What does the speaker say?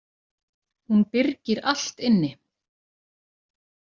Hún byrgir allt inni.